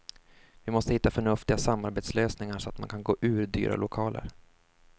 Vi måste hitta förnuftiga samarbetslösningar så att man kan gå ur dyra lokaler.